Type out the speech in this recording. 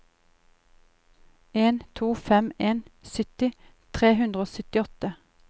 en to fem en sytti tre hundre og syttiåtte